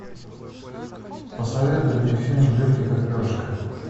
посоветуй мне фильм легкий как перышко